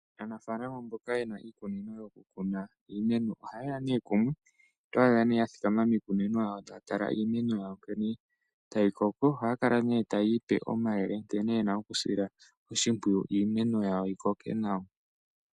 Aanafalama mboka yena iikunino yo ku kuna iimeno, oha ye ya ne kumwe, oto adha ne ya thikama miikunino ya wo ta ya tala iimeno ya wo nkene ta yi koko. Oha ya kala ne ta ya ipe omayele nkene yena okusila oshimpwiyu iimeno ya wo yi koke nawa.